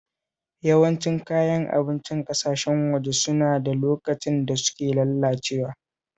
Yawancin Kayan abincin ƙasashen waje suna da lokacin da suke lalacewa